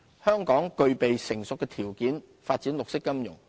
香港具備成熟的條件發展綠色金融。